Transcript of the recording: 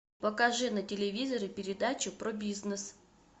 покажи на телевизоре передачу про бизнес